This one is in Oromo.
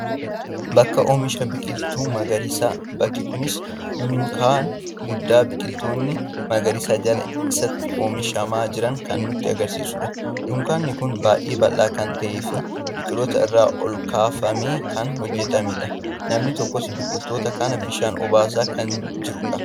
Bakka Oomisha biqiltoota magariisaa. Bakki kunis dunkaana guddaa biqiltoonni magariisni jala isaatti oomishamaa jiran kan nutti agarsiisudha. Dunkaanni kun baay'ee bal'aa kan ta'ee fi biqiltoota irraa olkaafamee kan hojjetamedha. Namni tokkos biqiltoota kana bishaan obaasaa kan jirudha.